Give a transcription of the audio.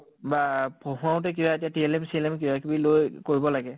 বা পঢ়াওতে কিবা এতিয়া time চিএলেম কিবা কিবি লৈ কৰিব লাগে